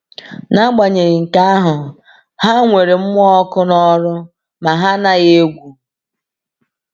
“N’agbanyeghị nke ahụ, ha nwere mmụọ ọkụ n’ọrụ ma ha anaghị egwu.”